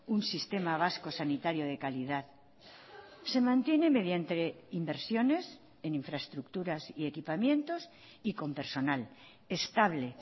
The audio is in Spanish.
un sistema vasco sanitario de calidad se mantiene mediante inversiones en infraestructuras y equipamientos y con personal estable